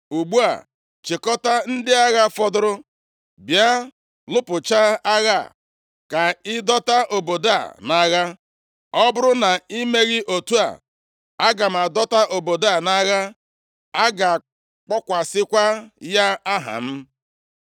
Ugbu a chịkọtaa ndị agha fọdụrụ bịa lụpụchaa agha a, ka ị dọta obodo a nʼagha. Ọ bụrụ na i meghị otu a, aga m adọta obodo a nʼagha, a ga-akpọkwasịkwa ya aha m.”